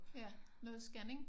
Ja noget scanning?